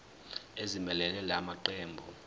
ezimelele la maqembu